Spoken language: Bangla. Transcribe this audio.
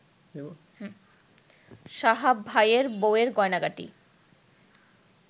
সাহাব ভাইএর বউএর গয়নাগাটি